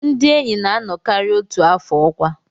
Ndị enyi na-anọkarị otu afọ ọkwa